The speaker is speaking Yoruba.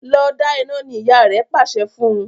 Lọ da ina! ní ìyá rẹ pàṣẹ fún.